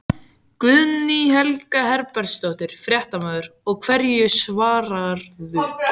Guðný Helga Herbertsdóttir, fréttamaður: Og hverju svararðu?